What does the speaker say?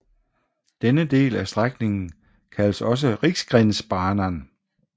Denne del af strækningen kaldes også Riksgränsbanan